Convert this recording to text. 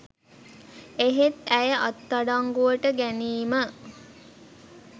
එහෙත් ඇය අත්අඩංගුවට ගැනීම